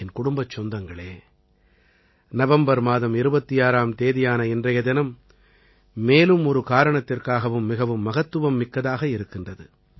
என் குடும்பச் சொந்தங்களே நவம்பர் மாதம் 26ஆம் தேதியான இன்றைய தினம் மேலும் ஒரு காரணத்திற்காகவும் மிகவும் மகத்துவம் மிக்கதாக இருக்கின்றது